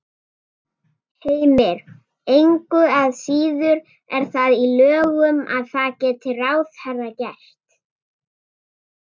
Heimir: Engu að síður er það í lögum að það geti ráðherra gert?